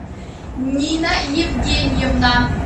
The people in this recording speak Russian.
нина евгеньевна